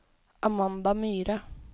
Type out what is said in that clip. Amanda Myhre